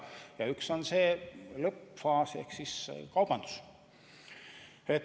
Ja üks aspekt on see lõppfaas ehk kaubandus.